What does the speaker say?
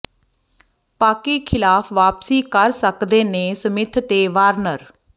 ਪਾਕਿ ਖ਼ਿਲਾਫ਼ ਵਾਪਸੀ ਕਰ ਸਕਦੇ ਨੇ ਸਮਿਥ ਤੇ ਵਾਰਨਰ